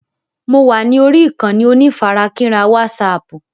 Mo wà lórí ìkànnì onífarakínra wásààpù.